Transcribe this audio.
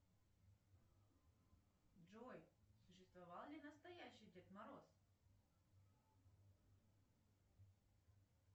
салют что было бы с россией если бы мы проиграли войну германии